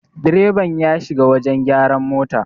direban ya shiga wajen gyaran mota